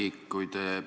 Härra Kiik!